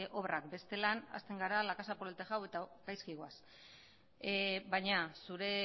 obrak bestela hazten gara la casa por el tejado eta gaizki goaz baina zure